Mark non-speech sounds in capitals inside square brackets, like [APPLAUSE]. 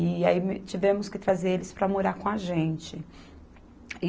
E aí, [UNINTELLIGIBLE] tivemos que trazer eles para morar com a gente.